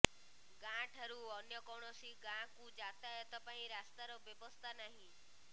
ଗାଁ ଠାରୁ ଅନ୍ୟ କୌଣସି ଗାଁକୁ ଯାତାୟତ ପାଇଁ ରାସ୍ତାର ବ୍ୟବସ୍ଥା ନାହିଁ